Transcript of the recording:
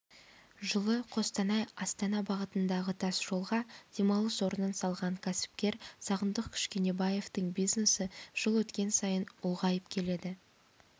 жылы қостанай астана бағытындағытасжолға демалыс орнын салған кәсіпкер сағындық кішкенебаевтың бизнесі жыл өткен сайын ұлғайып келеді